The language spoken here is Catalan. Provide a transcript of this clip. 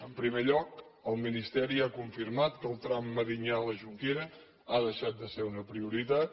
en primer lloc el ministeri ha confirmat que el tram medinyà la jonquera ha deixat de ser una prioritat